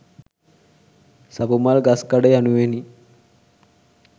සපුමල් ගස්කඩ යනුවෙනි.